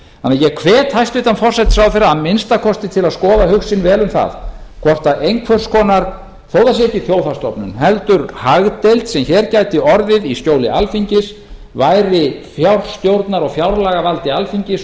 ég hvet því hæstvirtur forsætisráðherra að minnsta kosti til að skoða hug sinn vel um það hvort einhvers konar þó að það sé ekki þjóðhagsstofnun heldur hagdeild sem hér gæti orðið í skjóli alþingis væri fjárstjórnar og fjárlagavaldi alþingis og